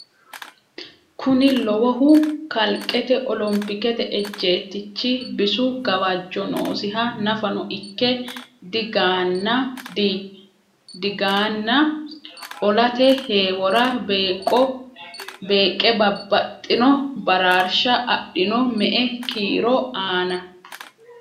Kuni lowohu kalqete olompikete ejjeettichi bisu gawajjo noosiha nafano ikke digaana olate heewora beeqqe babbaxxino baraarsha adhino, me”e kiiro aana?